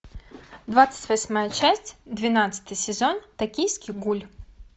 двадцать восьмая часть двенадцатый сезон токийский гуль